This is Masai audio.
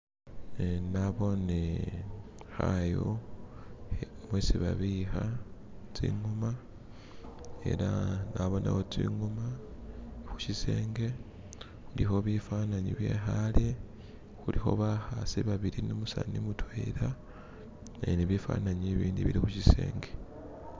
eh nabone hayu hesi babiha tsingoma ela nabonewo tsingoma hushisenge huliho bifananyi byehale huliho bahasi babili numusani mutwela e nibifananyi bindi bili hushisenge